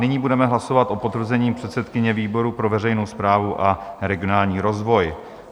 Nyní budeme hlasovat o potvrzení předsedkyně výboru pro veřejnou správu a regionální rozvoj.